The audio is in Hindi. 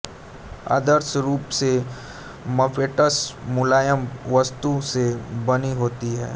आदर्श रूप से मपेट्स मुलायम वस्तु से बनी होती हैं